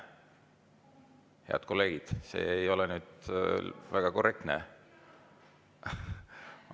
Head kolleegid, see ei ole nüüd väga korrektne.